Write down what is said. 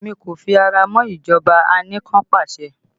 Èmi kò fi ara mọ́ ìjọba anikanpasẹ̀